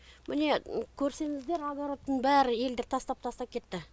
міне көрсеңіздер огородтың бәрі елдер тастап тастап кетті